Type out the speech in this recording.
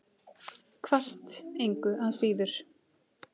Hvasst engu að síður.